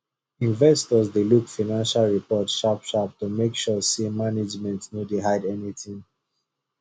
investors dey look financial report sharpsharp to make sure say management no dey hide anything